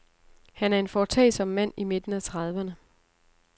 Han er en foretagsom mand i midten af trediverne.